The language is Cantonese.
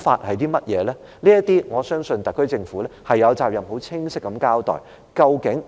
我相信就這些問題，特區政府有責任很清晰地交代。